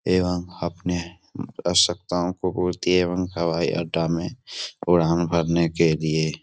एवं अपने आवश्कताओं को पूर्ति एवं हवाई अड्डा में उड़ान भरने के लिए।